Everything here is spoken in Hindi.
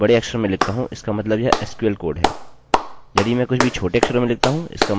यदि मैं कुछ भी बड़े अक्षर में लिखता हूँ इसका मतलब यह sql कोड है